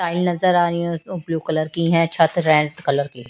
Tile नज़र आरही है ब्लू कलर की है छत रेड कलर की।